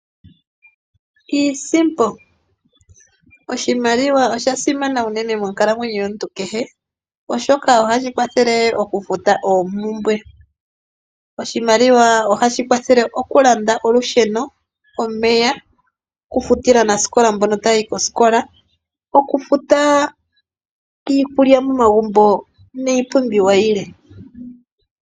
Iisimpo! Oshimaliwa osha simana unene monkalamwenyo yomuntu kehe, oshoka oha shi kwathele oku futa oompumbwe. Oshimaliwa oha shi kwathele oku landa olusheno, omeya, oku futile aanasikola mboka ta ya yi koskola, oku futa iikulya momagumbo, niipumbiwa yilwe.